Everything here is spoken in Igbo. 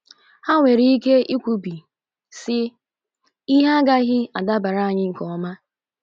Ha nwere ike ikwubi, sị, ‘ Ihe agaghị adabara anyị nke ọma.